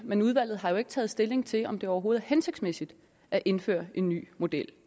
men udvalget har jo ikke taget stilling til om det overhovedet er hensigtsmæssigt at indføre en ny model